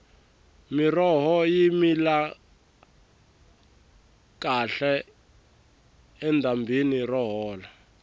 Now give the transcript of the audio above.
miroho yi mila kahle edyambini ro hola